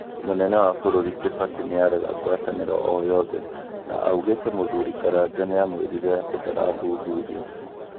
mũnene wa bũrũri kibaki nĩarega ngwatanĩro oyothe na augĩte mũthuri Karanja nĩamwĩrĩire atĩ ndarathuthurio